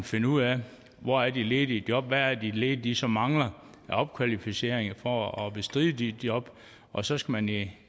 finde ud af hvor de ledige job er er det de ledige ligesom mangler af opkvalificering for at bestride de job og så skal man i